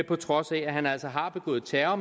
på trods af at han altså har begået terror